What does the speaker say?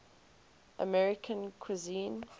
american cuisine